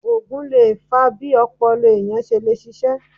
Ògùn lè fa bí ọpọlọ ènìyàn ṣe le ṣiṣé